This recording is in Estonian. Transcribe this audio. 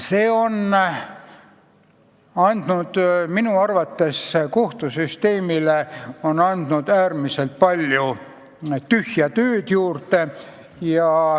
See otsus on andnud minu arvates kohtusüsteemile äärmiselt palju tühja tööd juurde.